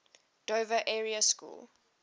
dover area school